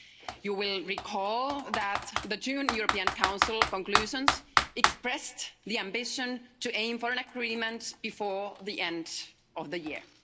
You will recall that the June European Council conclusions expressed the ambition to aim for an agreement before the end of the year.